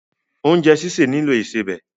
Oúnjẹ́ sìsè nílò ìsebẹ̀.